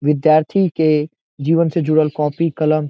विद्यार्थी के जीवन से जुड़ल कॉपी कलम --